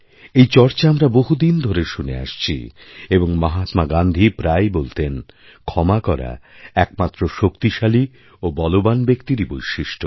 এই চর্চা আমরা বহুদিন ধরে শুনে আসছি এবং মহাত্মা গান্ধীপ্রায়ই বলতেন ক্ষমা করা একমাত্র শক্তিশালী ও বলবান ব্যক্তিরই বৈশিষ্ট্য